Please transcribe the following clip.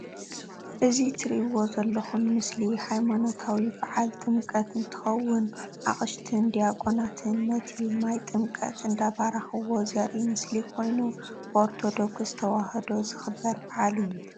እዚ እትርእዎ ዘለኩም ምስሊ ሃይማኖታዊ ባዓል ጥምቀት እንትከውን ኣቅሽሽትን ዳቆናትን ነቲ ማይ ጥምቀት እንዳባረክዎ ዘርኢ ምስሊ ኮይኑ፣ ብኦርቶዶክስ ተዋህዶ ዝክበር ባዓል እዩ።